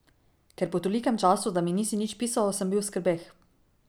Ker po tolikem času, da mi nisi nič pisal, sem bil v skrbeh.